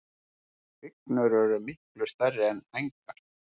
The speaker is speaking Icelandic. Hrygnur eru miklu stærri er hængar.